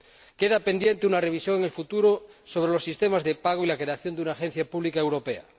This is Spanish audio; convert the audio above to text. Queda pendiente una revisión en el futuro sobre los sistemas de pago y la creación de una agencia pública europea.